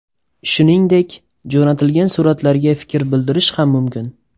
Shuningdek, jo‘natilgan suratlarga fikr bildirish ham mumkin.